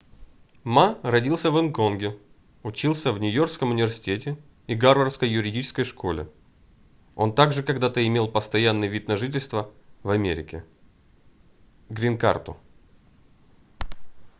ма родился в гонконге учился в нью-йоркском университете и гарвардской юридической школе. он также когда-то имел постоянный вид на жительство в америке грин-карту"